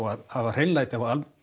að hafa hreinlæti